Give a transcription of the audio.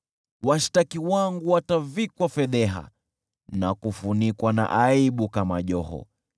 Washtaki wangu watavikwa fedheha, na kufunikwa na aibu kama joho.